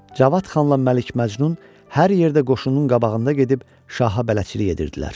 Cavad xanla Məlik Məcnun hər yerdə qoşunun qabağında gedib şaha bələdçilik edirdilər.